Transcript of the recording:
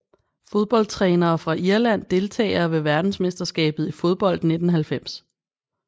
Fodboldtrænere fra Irland Deltagere ved verdensmesterskabet i fodbold 1990